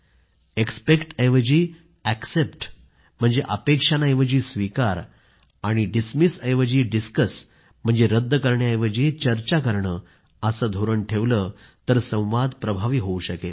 expect ऐवजी except म्हणजे अपेक्षांऐवजी स्वीकार आणि डिसमिस करण्याऐवजी डिस्कस म्हणजे रद्द करण्याऐवजी चर्चा करणे असे धोरण ठेवलं तर संवाद प्रभावी होऊ शकेल